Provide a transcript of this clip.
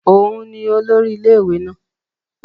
Òun nì olórí ilé-ìwé náà